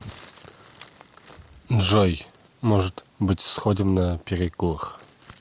джой может быть сходим на перекур